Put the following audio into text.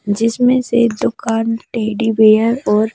जिसमें से दुकान टेडी बेयर और --